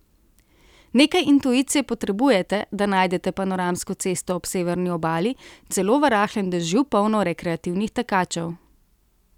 Nekaj intuicije potrebujete, da najdete panoramsko cesto ob severni obali, celo v rahlem dežju polno rekreativnih tekačev.